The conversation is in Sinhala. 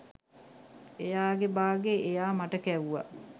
එයාගේ බාගේ එයා මට කැව්වා!